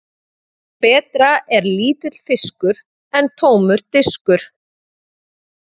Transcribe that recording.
Betra er lítill fiskur en tómur diskur.